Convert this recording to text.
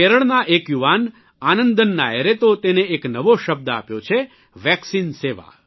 કેરળના એક યુવાન આનંદન નાયરે તો તેને એક નવો શબ્દ આપ્યો છે વેક્સિન સેવા